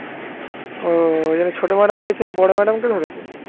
ও ওই জন্যে ছোট madam কে ছেড়ে বড় madam কে ধরেছে